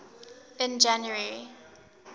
in january